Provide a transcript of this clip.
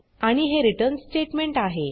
आणि हे return statement आहे